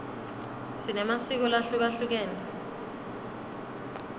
sinemasiko lahlukehlukene